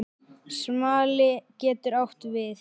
Smali getur átt við